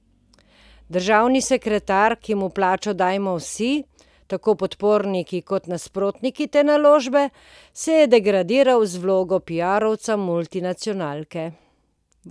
Državni sekretar, ki mu plačo dajemo vsi, tako podporniki kot nasprotniki te naložbe, se je degradiral v vlogo piarovca multinacionalke.